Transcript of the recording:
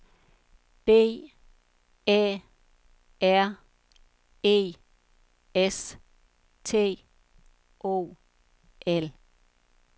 B Æ R E S T O L